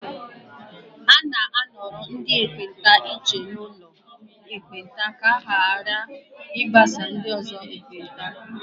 A na-anọrọ ndị ekpenta iche n'ụlọ ekpenta ka ha ghara ịgbasa ndị ọzọ ekpenta